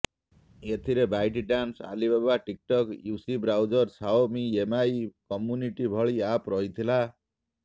ଏଥିରେ ByteDance Alibaba TikTok UC browser Xiaomi Mi community ଭଳି app ରହିଥିଲା